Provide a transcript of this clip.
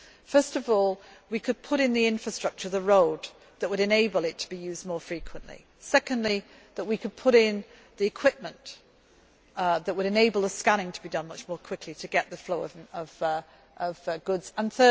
First of all, we could put in the infrastructure the road that would enable it to be used more frequently and, secondly, we could put in the equipment that would enable the scanning to be done much more quickly to get the flow of goods moving.